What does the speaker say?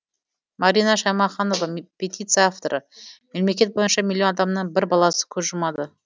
марина шаймаханова петиция авторы мемлекет бойынша миллион адамның бір баласы көз жұмады